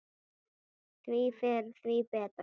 Því fyrr, því betra.